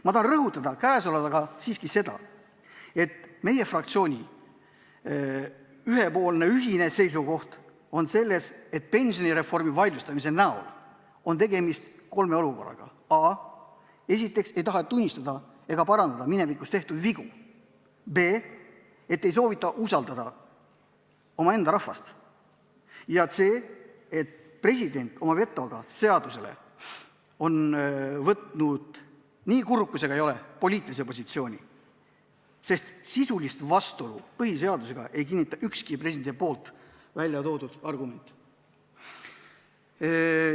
Ma tahan rõhutada siiski seda, et meie fraktsiooni ühine seisukoht on see, et pensionireformi vaidlustamises on tegemist kolme olukorraga: a) ei taheta tunnistada ega parandada minevikus tehtud vigu, b) ei soovita usaldada omaenda rahvast ja c) president oma vetoga seadusele on võtnud, nii kurb kui see ka pole, poliitilise positsiooni, sest sisulist vastuolu põhiseadusega ei kinnita ükski presidendi väljatoodud argument.